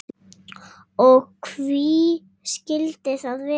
Og hví skildi það vera?